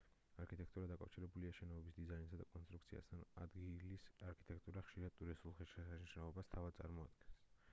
არქიტექტურა დაკავშირებულია შენობების დიზაინსა და კონტრუქციასთან ადგილის არქიტექტურა ხშირად ტურისტულ ღირსშესანიშნაობას თავად წარმოადგენს